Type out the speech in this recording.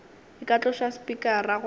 e ka tloša spikara goba